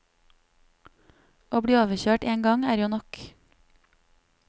Å bli overkjørt en gang er jo nok.